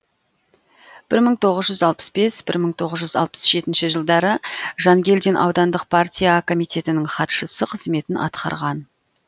бір мың тоғыз жүз алпыс бес бір мың тоғыз жүз алпыс жетінші жылдары жангельдин аудандық партия комитетінің хатшысы қызметін атқарған